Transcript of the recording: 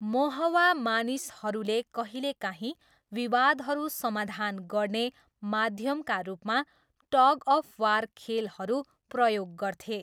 मोहवा मानिसहरूले कहिलेकाहीँ विवादहरू समाधान गर्ने माध्यमका रूपमा टग अफ वार खेलहरू प्रयोग गर्थे।